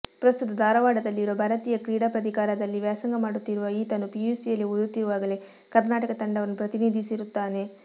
ಪ್ರಸ್ತುತ ಧಾರವಾಡದಲ್ಲಿರುವ ಭಾರತೀಯ ಕ್ರೀಡಾ ಪ್ರಾಧಿಕಾರದಲ್ಲಿ ವ್ಯಾಸಂಗ ಮಾಡುತ್ತಿರುವ ಈತನು ಪಿಯುಸಿಯಲ್ಲಿ ಓದುತ್ತಿರುವಾಗಲೇ ಕರ್ನಾಟಕ ತಂಡವನ್ನು ಪ್ರತಿನಿಧಿಸಿರುತ್ತಾನೆ